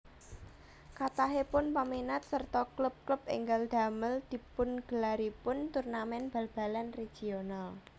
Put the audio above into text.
Kathahipun paminat sarta klub klub ènggal damel dipungelaripun turnamèn bal balan regional